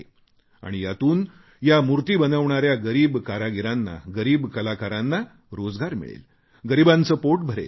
आणि यातून या मूर्ती बनविणाऱ्या गरीब कारागीरांना गरीब कलाकारांना रोजगार मिळेल गरीबांचे पोट भरेल